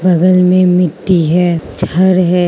बगल मे मिट्टी है घर है।